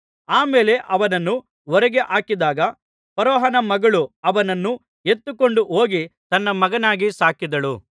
ಆ ಮೇಲೆ ಅವನನ್ನು ಹೊರಗೆ ಹಾಕಿದಾಗ ಫರೋಹನ ಮಗಳು ಅವನನ್ನು ಎತ್ತಿಕೊಂಡು ಹೋಗಿ ತನ್ನ ಮಗನಾಗಿ ಸಾಕಿದಳು